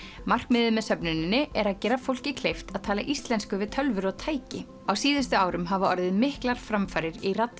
markmiðið með söfnuninni er að gera fólki kleift að tala íslensku við tölvur og tæki á síðustu árum hafa orðið miklar framfarir í